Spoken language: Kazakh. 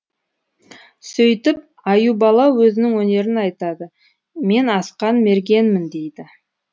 сөйтіп аюбала өзінің өнерін айтады мен асқан мергенмін дейді